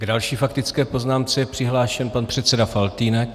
K další faktické poznámce je přihlášen pan předseda Faltýnek.